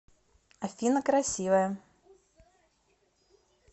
афина красивая